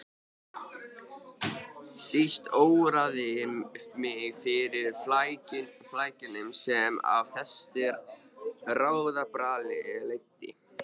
Síst óraði mig fyrir flækjunum sem af þessu ráðabralli leiddi.